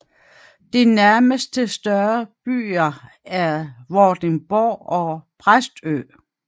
De nærmeste større byer er Vordingborg og Præstø